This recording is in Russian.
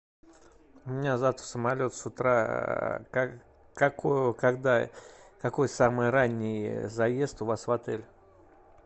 у меня завтра самолет с утра как какую когда какой самый ранний заезд у вас в отель